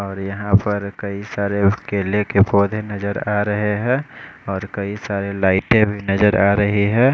और यहाँ पर कई सारे केले के पौधे नज़र आरहे है और कई सारे लाइटे भी नज़र आरही है।